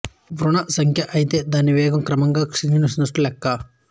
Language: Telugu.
ఋణ సంఖ్య అయితే దాని వేగం క్రమంగా క్షీణిస్తున్నట్లు లెక్క